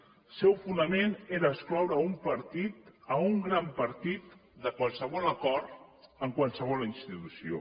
el seu fonament era excloure un partit un gran partit de qualsevol acord amb qualsevol institució